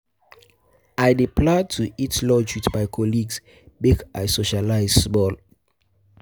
I dey plan to eat lunch wit my colleagues, make I make I socialize small.